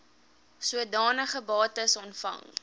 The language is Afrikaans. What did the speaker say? sodanige bates ontvang